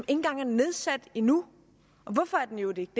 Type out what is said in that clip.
engang er nedsat endnu og hvorfor er den i øvrigt ikke